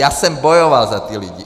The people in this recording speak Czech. Já jsem bojoval za ty lidi.